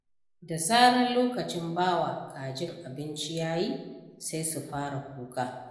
Da zarar lokacin bawa kajin abinci yayi, sai su fara kuka.